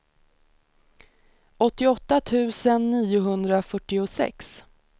åttioåtta tusen niohundrafyrtiosex